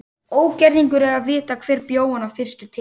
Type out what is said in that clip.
Ógerningur er að vita hver bjó hana fyrstur til.